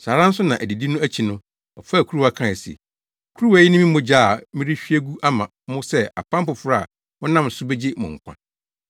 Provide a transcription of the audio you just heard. Saa ara nso na adidi no akyi no, ɔfaa kuruwa kae se, “Kuruwa yi ne me mogya a merehwie agu ama mo sɛ apam foforo a wɔnam so begye mo nkwa.